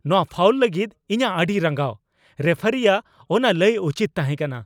ᱱᱚᱣᱟ ᱯᱷᱟᱣᱩᱞ ᱞᱟᱹᱜᱤᱫ ᱤᱧᱟᱜ ᱟᱹᱰᱤ ᱨᱟᱸᱜᱟᱣ ! ᱨᱮᱯᱷᱟᱨᱤᱭᱟᱜ ᱚᱱᱟ ᱞᱟᱹᱭ ᱩᱪᱤᱛ ᱛᱟᱦᱮᱠᱟᱱᱟ ᱾